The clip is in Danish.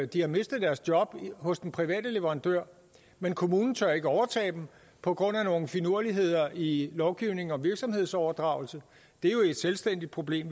de har mistet deres job hos den private leverandør men kommunen tør ikke overtage dem på grund af nogle finurligheder i lovgivningen om virksomhedsoverdragelse det er jo et selvstændigt problem